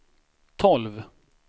tolv